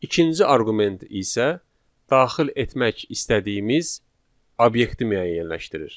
İkinci arqument isə daxil etmək istədiyimiz obyekti müəyyənləşdirir.